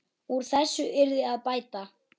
Úr þessu yrði að bæta.